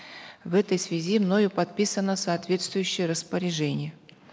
в этой связи мною подписано соответствующее распоряжение